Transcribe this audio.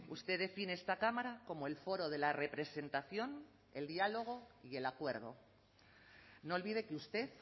usted define esta cámara como el foro de la representación el diálogo y el acuerdo no olvide que usted